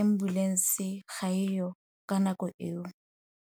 ambulance-e ga e yo ka nako eo.